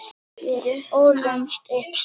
Við ólumst upp saman.